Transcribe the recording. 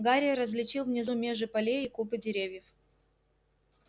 гарри различил внизу межи полей и купы деревьев